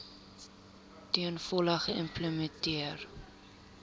ten volle geïmplementeer